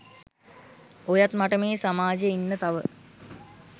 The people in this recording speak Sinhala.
ඔයත් මට මේ සමාජෙ ඉන්න තව